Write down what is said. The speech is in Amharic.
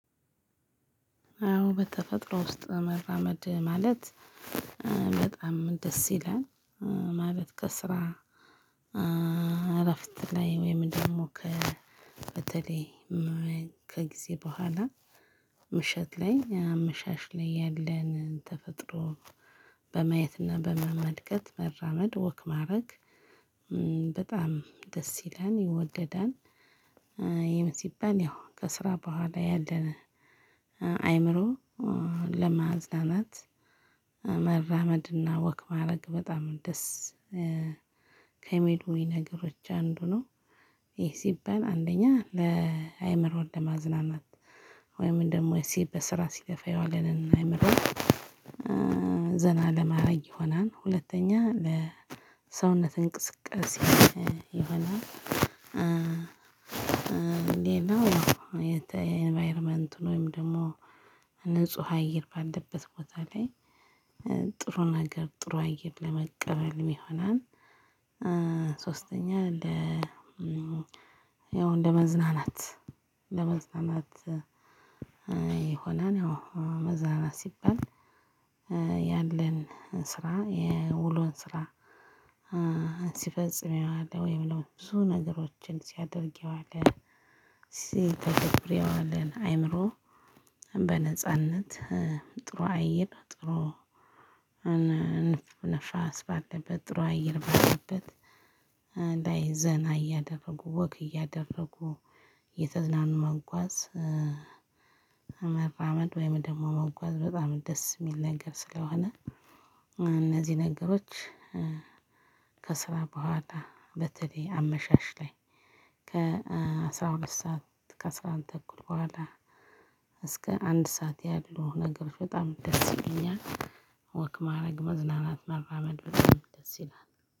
አዎ በተፈጥሮ ውስጥ መራመድ ማለት በጣም ደስ ይላል። ማለት ከስራ እረፍት ላይ ወይም ደግሞ ከበተለይ ከጊዜ ቡሀላ ምሽት ላይ አመሻሽ ላይ ያለን ተፈጥሮ በማየትና በመመልከት መራመድ ወክ ማረግ በጣም ደስ ይላል ይወደዳን። ይህም ሲባል ያው ከስራ በኋላ ያለነ አይምሮ ለማዝናናት መራመድና ወክ ማድረግ በጣም ደስ ከሚሉኝ ነገሮች አንዱ ነው። ይህ ሲባል አንደኛ ለአይምሮ ለማዝናናት ወይም ደግሞ ሲበስራ ሲለፋ የዋለንን አእምሮ ዘና ለማያግ ይሆናል። ሁለተኛ ለሰውነት እንቅስቃሴ ይሆናል። ሌላው የተ የኢንቫይሮመንትን መይም ደግሞ ንጹህ አየር ባለበት ቦታ ላይ ጥሩ ነገር ጥሩ አየር ለመቀበልም ይሆናል። ሶስተኛ ለ ያው እንደ መዝናናት ለመዝናናት የሆነ ነው። መዝናናት ሲባል ያለን ስራ የውሎን ስራ ሲፈጽሜዋለው ወይም ደሞ ብዙ ነገሮችን ሲያደርግ የዋለ ሲተገብር የዋለን አይምሮ በነጻነት ጥሩ አየር ጥሩ ንፋስ ባለበት ጥሩ አየር ባለበት ላይ ዘና እያደረጉ ወክ እያደረጉ የተዝናኑ መጓዝ። መራመድ ወይም ደግሞ መጓዝ በጣም ደስ የሚል ነገር ስለሆነ እነዚህ ነገሮች ከስራ በኋላ በተለይ አመሻሽ ላይ ከ አስራ ሁለት ሰዓት ከአስራ አንድ ተኩል በኋላ እስከ አንድ ሰዓት ያሉ ነገሮች በጣም ደስ ይሉኛል። ወክ ማድረግ መዝናናት መራመድ በጣም ደስ ይላል